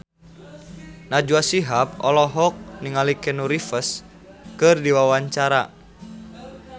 Najwa Shihab olohok ningali Keanu Reeves keur diwawancara